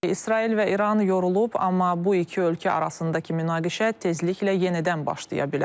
İsrail və İran yorulub, amma bu iki ölkə arasındakı münaqişə tezliklə yenidən başlaya bilər.